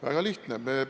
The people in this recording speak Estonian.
Väga lihtne!